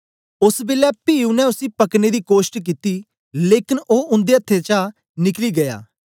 ओस बेलै पी उनै उसी पकड़ने दी कोष्ट कित्ती लेकन ओ उन्दे अथ्थें चा निकली गीया